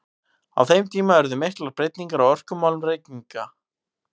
Á þeim tíma urðu miklar breytingar á orkumálum Reykvíkinga.